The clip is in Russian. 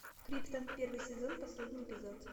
криптон первый сезон последний эпизод